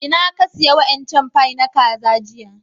Inna ka siya wa'incan fie na kaza jiya?